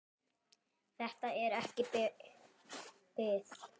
Þetta er ekki bið.